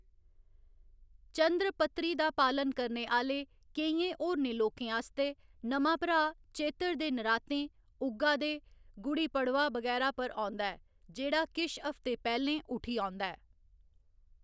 चंद्र पत्तरी दा पालन करने आह्‌‌‌ले केइयैं होरनै लोकें आस्तै, नमां भराऽ चेत्तर दे नरातें, उग्गा दे, गुड्डी पड़वाह् बगैरा पर औंदा ऐ, जेह्‌‌ड़ा किश हफ्ते पैह्‌लें उठी औंदा ऐ।